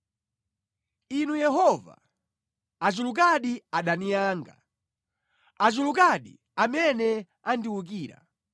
Inu Yehova, achulukadi adani anga! Achulukadi amene andiwukira!